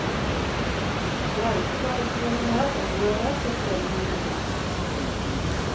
Det er ikke bare kroner og øre som står i hodet på henne.